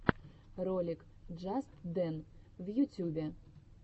ролик джастдэн в ютюбе